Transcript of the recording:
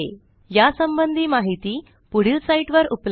या संबंधी माहिती पुढील साईटवर उपलब्ध आहे